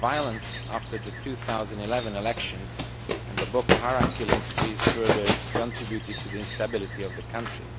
The violence, after the 2011 elections and the Boko Haram killing sprees, further contributed to the instability of the country.